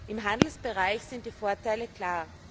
Im Handelsbereich sind die Vorteile klar.